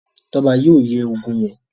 Toba yóò ye ògún yén.